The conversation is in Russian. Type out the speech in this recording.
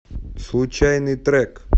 случайный трек